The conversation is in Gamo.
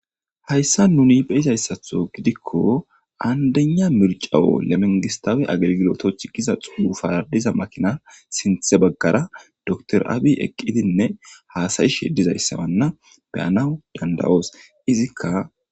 hayssa nuni be izayssatho gidikko aandena mircawo lemengistaawe agelgilotocth giza xuufadiza makinar sinthe baggara doktor abi eqqidinne haasayishe dizayssamanna beyanawu dandawoos izikka